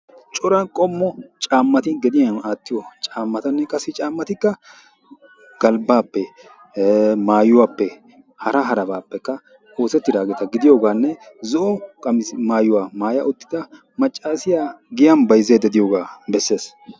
Cora qommo cammati gediyan attiyo cammatane qassi cammatikka galbbappe maayuwape hara harabapeka oosetidageta gidiyogane zo'o qamise maayuwa maaya uttida maccaasiya giyan bayzzayda deiyoge beeses.